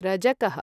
रजकः